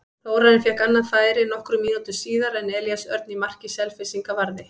Þórarinn fékk annað færi nokkrum mínútum síðar en Elías Örn í marki Selfyssinga varði.